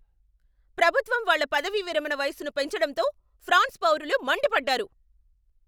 ప్రభుత్వం వాళ్ళ పదవీవిరమణ వయసును పెంచడంతో ఫ్రాన్స్ పౌరులు మండిపడ్డారు.